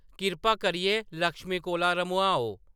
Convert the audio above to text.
“कृपा करियै लक्ष्मी कोला रम्होआओ ।